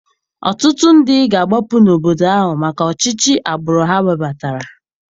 Ọtụtụ ndị ga-agbapụ n'obodo ahụ maka ọchịchị agbụrụ ha webatara.